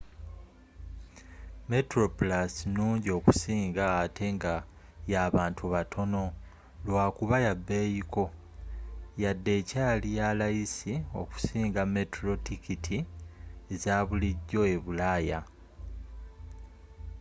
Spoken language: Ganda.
metroplus nungi okusinga ate nga y'abantu batono lwakuba yabbeyi ko yadde ekyali yalayisi okusinga metro tikitti ezabulijjo ebulaya